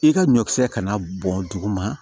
I ka ɲɔkisɛ kana bɔn duguma